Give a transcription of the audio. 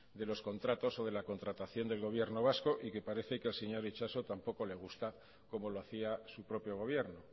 de los contratos o de la contratación del gobierno vasco y que parece que al señor itxaso tampoco le gusta cómo lo hacía su propio gobierno